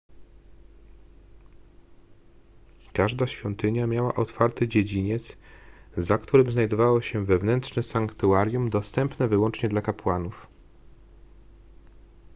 każda świątynia miała otwarty dziedziniec za którym znajdowało się wewnętrzne sanktuarium dostępne wyłącznie dla kapłanów